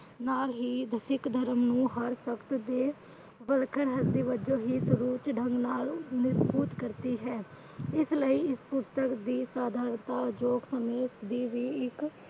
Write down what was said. ਨਾਲ ਹੀ ਸਿੱਖ ਧਰਮ ਨੂੰ ਧਰਮ ਨਾਲ ਮਜਬੂਤ ਕਰਦੀ ਹੈ। ਇਸ ਲਈ ਇਸ ਪੁਸਤਕ ਦੀ